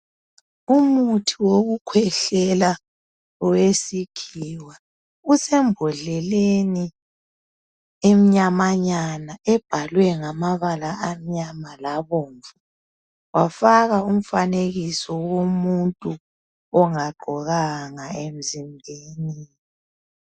Umuthi wokuhwehlela wesikhiwa usembondleleni ebhalwe ngamabala amnyama wafakwa umfanekiso womuntu ongagqokanga.